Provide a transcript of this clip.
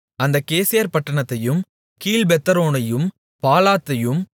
சாலொமோன் அந்தக் கேசேர் பட்டணத்தையும் கீழ்ப்பெத்தொரோனையும்